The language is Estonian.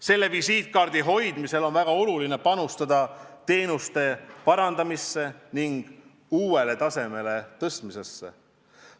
Selle visiitkaardi hoidmisel on väga oluline panustada teenuste parandamisse ning uuele tasemele tõstmisesse.